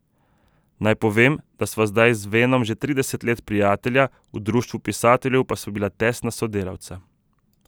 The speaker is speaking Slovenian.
Naj povem, da sva zdaj z Venom že trideset let prijatelja, v Društvu pisateljev pa sva bila tesna sodelavca.